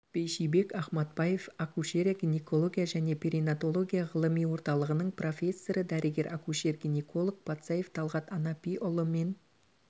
бейшибек ахматбаев акушерия гинекология және перинаталогия ғылыми орталығының профессоры дәрігер акушер-гинеколог патсаев талғат анапиұлы мен